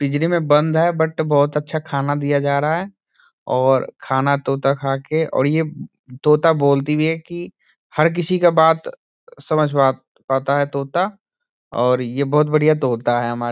पिंजरे में बंद है बट बहुत अच्छा खाना दिया जा रहा है और खाना तोता खा के और ये तोता बोलती भी है की हर किसी का बात समझ पात-पाता है तोता और ये बहुत बढ़िया तोता है हमारा।